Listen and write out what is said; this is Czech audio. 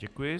Děkuji.